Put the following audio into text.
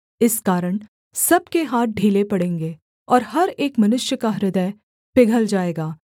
इस कारण सब के हाथ ढीले पड़ेंगे और हर एक मनुष्य का हृदय पिघल जाएगा